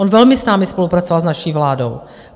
On velmi s námi spolupracoval, s naší vládou.